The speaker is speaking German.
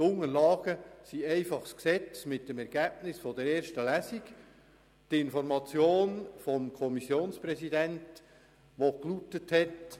Die Unterlagen, welche Sie dazu haben, sind lediglich das Gesetz mit dem Ergebnis der ersten Lesung sowie die Information des Kommissionspräsidenten.